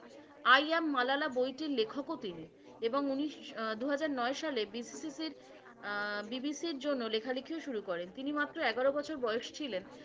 I am malala বইটির লেখকও তিনি। এবং উনিশ দুহাজার নয় সালে BBC র জন্য লেখালেখিও শুরু করেন। তিনি মাত্র এগারো বছর বয়স ছিলেন।